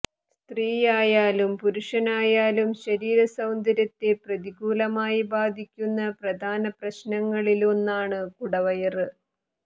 സ്ത്രീയായാലും പുരുഷനായാലും ശരിര സൌന്ദര്യത്തെ പ്രതികൂലമായി ബാധിക്കുന്ന പ്രധാനപ്രശ്നങ്ങളില് ഒന്നാണ് കുടവയര്